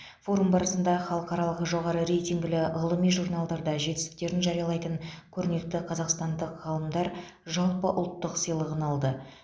форум барысында халықаралық жоғары рейтингілі ғылыми журналдарда жетістіктерін жариялайтын көрнекті қазақстандық ғалымдар жалпыұлттық сыйлығын алды